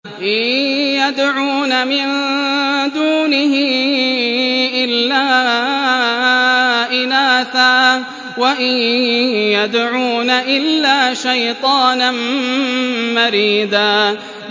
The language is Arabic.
إِن يَدْعُونَ مِن دُونِهِ إِلَّا إِنَاثًا وَإِن يَدْعُونَ إِلَّا شَيْطَانًا مَّرِيدًا